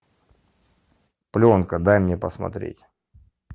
пленка дай мне посмотреть